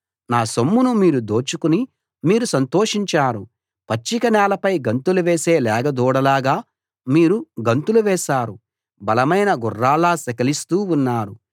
నా సొమ్మును మీరు దోచుకుని మీరు సంతోషించారు పచ్చిక నేలపై గంతులు వేసే లేగ దూడలాగా మీరు గంతులు వేశారు బలమైన గుర్రాల్లా సకిలిస్తూ ఉన్నారు